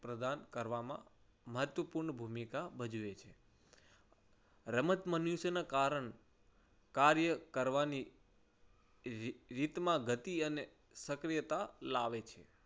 પ્રદાન કરવામાં મહત્વપૂર્ણ ભૂમિકા ભજવે છે. રમત મનુષ્યના કારણે કાર્ય કરવાની રીરીતમાં ગતિ અને સક્રિયતા લાવે છે